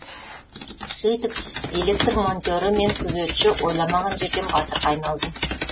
сөйтіп электр монтері мен күзетші ойламаған жерден батырға айналды